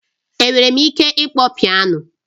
Enwere m ike ịkpọ Piano